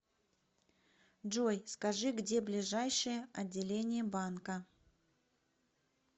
джой скажи где ближайшее отделение банка